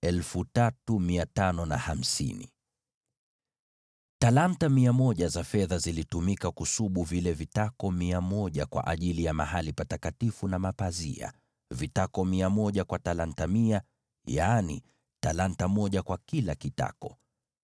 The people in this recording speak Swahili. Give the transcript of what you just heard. Talanta hizo 100 za fedha zilitumika kusubu vile vitako mia moja kwa ajili ya mahali patakatifu na pazia: vitako mia moja kwa talanta mia, yaani, talanta moja kwa kila kitako.